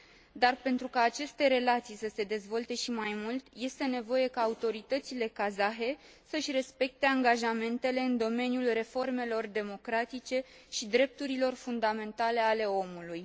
Dar, pentru ca aceste relații să se dezvolte și mai mult, este nevoie ca autoritățile kazahe să își respecte angajamentele în domeniul reformelor democratice și drepturilor fundamentale ale omului.